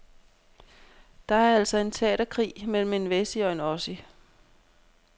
Det er altså en teaterkrig mellem en wessie og en ossie.